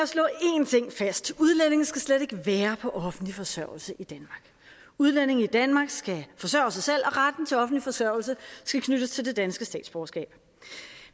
at slå én ting fast udlændinge skal slet ikke være på offentlig forsørgelse udlændinge i danmark skal forsørge sig selv og retten til offentlig forsørgelse skal knyttes til det danske statsborgerskab